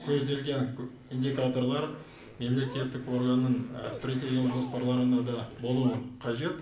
көзделген индикаторлар мемлекеттік органның і стратегиялық жоспарларына да болуы қажет